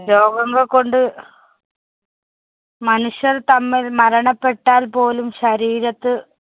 രോഗങ്ങള്‍കൊണ്ട് മനുഷ്യര്‍ തമ്മില്‍ മരണപ്പെട്ടാല്‍ പോലും ശരീരത്ത്